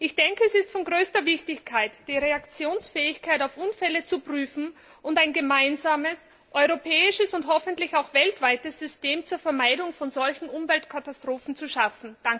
Ich denke, es ist von größter Wichtigkeit, die Reaktionsfähigkeit auf Unfälle zu prüfen und ein gemeinsames europäisches und hoffentlich auch weltweites System zur Vermeidung von solchen Umweltkatastrophen zu schaffen.